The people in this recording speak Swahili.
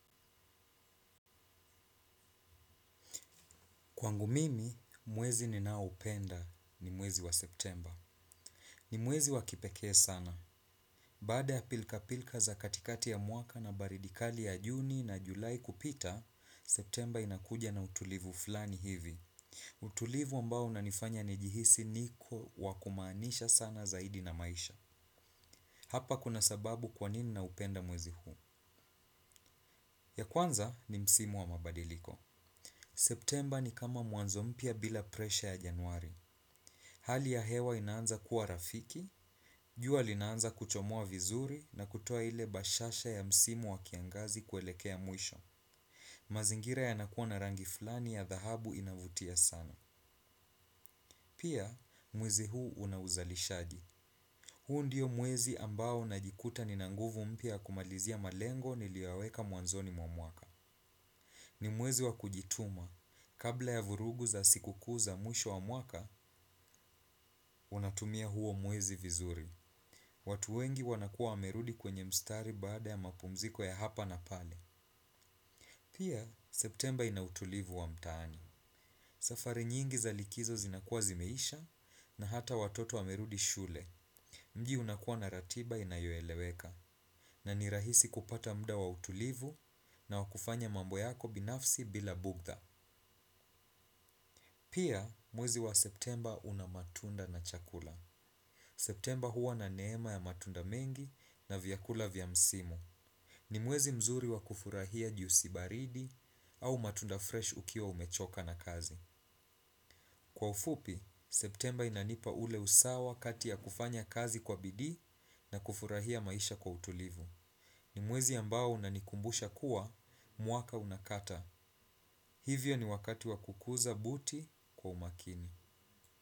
Kwangu mimi, mwezi ninaupenda ni mwezi wa septemba. Ni mwezi wa kipekee sana. Baada ya pilka-pilka za katikati ya mwaka na baridi kali ya juni na julai kupita, septemba inakuja na utulivu fulani hivi. Utulivu ambao inanifanya nijihisi niko wakumaanisha sana zaidi na maisha. Hapa kuna sababu kwa nini naupenda mwezi huu. Ya kwanza ni msimu wa mabadiliko. Septemba ni kama mwanzo mpya bila presha ya januari. Hali ya hewa inaanza kuwa rafiki, jua linaanza kuchomoa vizuri na kutoa ile bashasha ya msimu wa kiangazi kuelekea mwisho. Mazingira yanakuwa na rangi flani ya dhahabu inavutia sana. Pia, mwezi huu unauzalishaji. Huu ndiyo mwezi ambao najikuta nina nguvu mpya yakumalizia malengo niliyoyaweka mwanzoni mwaka. Ni mwezi wa kujituma. Kabla ya vurugu za sikukuu za mwisho wa mwaka, unatumia huo mwezi vizuri. Watu wengi wanakuwa wamerudi kwenye mstari baada ya mapumziko ya hapa na pale. Pia, septemba ina utulivu wa mtaani. Safari nyingi za likizo zinakuwa zimeisha na hata watoto wamerudi shule. Mji unakuwa na ratiba inayoeleweka. Na nirahisi kupata muda wa utulivu na wakufanya mambo yako binafsi bila bughudha. Pia, mwezi wa septemba una matunda na chakula. Septemba huwa na neema ya matunda mengi na vyakula vya msimu. Ni mwezi mzuri wa kufurahia jiusi baridi au matunda fresh ukiwa umechoka na kazi. Kwa ufupi, septemba inanipa ule usawa kati ya kufanya kazi kwa bidii na kufurahia maisha kwa utulivu. Ni mwezi ambao unanikumbusha kuwa, mwaka unakata. Hivyo ni wakati wa kukuza buti kwa umakini.